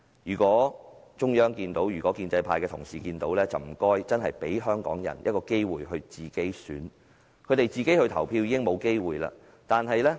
如果中央或建制派的同事真的找得到，請他們給予香港人一個機會自行選擇，因為他們已經沒有投票的機會。